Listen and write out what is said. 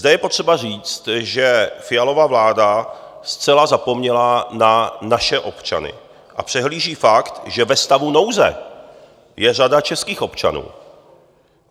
Zde je potřeba říct, že Fialova vláda zcela zapomněla na naše občany a přehlíží fakt, že ve stavu nouze je řada českých občanů.